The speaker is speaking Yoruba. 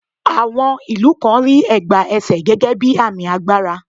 À̀wọn ìlú kan rí ẹ̀gbá ẹsè gẹ́gẹ́ bí àmì agbára.